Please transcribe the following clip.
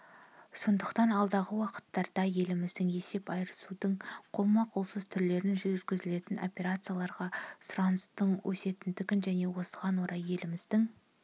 сондықтан алдағы уақыттарда еліміздің есеп айырысудың қолма-қолсыз түрлерімен жүргізілетін операцияларға сұраныстың өсетіндігін және осыған орай еліміздің